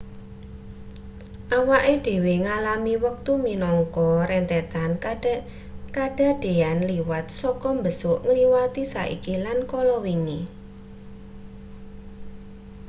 awake dhewe ngalami wektu minangka rentetan kadadean liwat saka mbesuk ngliwati saiki lan kala wingi